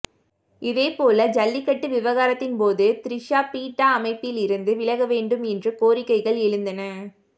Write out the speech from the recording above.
இதேபோல ஜல்லிக்கட்டு விவகாரத்தின் போது திரிஷா பீட்டா அமைப்பிலிருந்து விலகவேண்டும் என்று கோரிக்கைகள் எழுந்தன